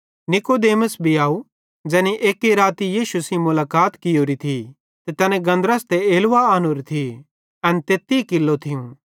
नीकुदेमुस भी आव ज़ैनी एक्की बार राती यीशु सेइं मुलाकात कियोरी थी तैनी गन्धरस ते एलवा आनोरे थिये एन तेत्ती किल्लो थियूं